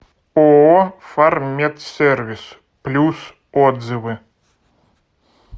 ооо фарммедсервис плюс отзывы